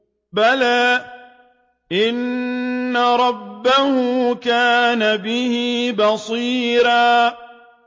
بَلَىٰ إِنَّ رَبَّهُ كَانَ بِهِ بَصِيرًا